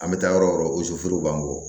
An bɛ taa yɔrɔ o yɔrɔ b'an bɔ